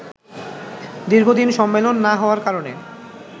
দীর্ঘদিন সম্মেলন না হওয়ার কারণে